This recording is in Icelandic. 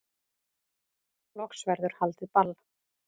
Loks verður haldið ball